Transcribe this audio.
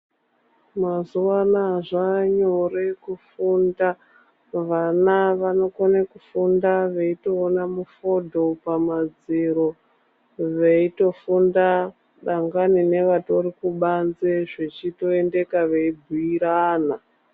Mazuwa anaya zvaanyore kufunda vana vanokone kufunda veitoone mufodho pamadziro veitofunda dangani nevari kubanze zvechitoendeka veibhiirana.